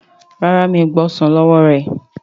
ràrá mi'o gba ọsán ló wọ rẹ.